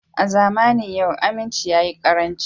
A zamanin yau aminci ya yi karanci